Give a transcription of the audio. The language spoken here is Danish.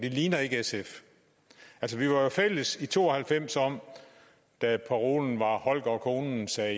det ligner ikke sf altså vi var jo fælles i to og halvfems da parolen var holger og konen siger